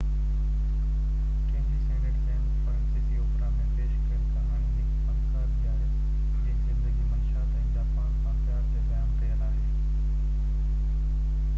Camille Saint Saens فرانسيسي اوپيرا ۾ پيش ڪيل ڪهاڻي هڪ فنڪار جي آهي جنهن جي زندگي منشيات ۽ جاپان سان پيار تي بيان ڪيل آهي